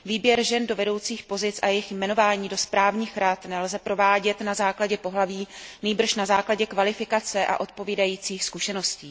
Výběr žen do vedoucích pozic a jejich jmenování do správních rad nelze provádět na základě pohlaví, nýbrž na základě kvalifikace a odpovídajících zkušeností.